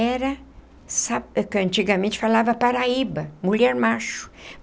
Era, antigamente falava paraíba, mulher macho.